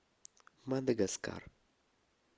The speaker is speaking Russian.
мадагаскар